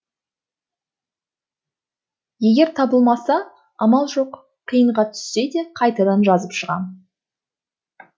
егер табылмаса амал жоқ қиынға түссе де қайтадан жазып шығам